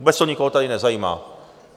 Vůbec to nikoho tady nezajímá.